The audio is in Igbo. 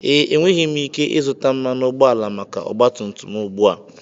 Ee, enweghị m ike ịzụta mmanụ ụgbọala maka ọgba tum tum m ugbu a.